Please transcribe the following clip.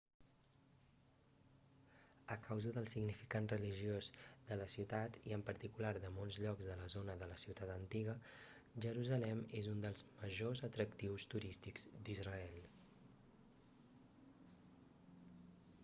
a causa del significat religiós de la ciutat i en particular de molts llocs de la zona de la ciutat antiga jerusalem és un dels majors atractius turístics d'israel